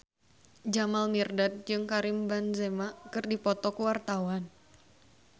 Jamal Mirdad jeung Karim Benzema keur dipoto ku wartawan